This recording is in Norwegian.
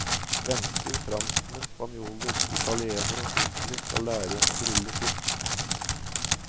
Svensker, franskmenn, spanjoler, italienere og tyskere skal lære å grille fisk.